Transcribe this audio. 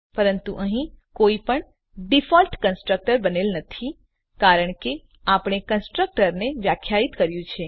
પરંતુ અહીં કોઈપણ ડીફોલ્ટ કન્સ્ટ્રક્ટર બનેલ નથી કારણ કે આપણે કન્સ્ટ્રક્ટર ને વ્યાખ્યાયિત કર્યું છે